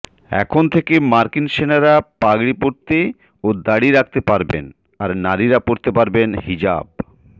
এখন থেকে মার্কিন সেনারা পাগড়ি পরতে ও দাড়ি রাখতে পারবেন আর নারীরা পরতে পারবেন হিজাব